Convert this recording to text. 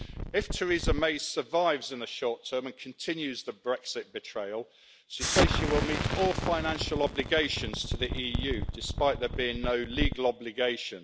If Theresa May survives in the short term and continues the Brexit betrayal, she says she will meet all financial obligations to the EU, despite there being no legal obligation.